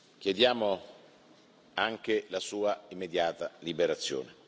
Chiediamo anche la sua immediata liberazione.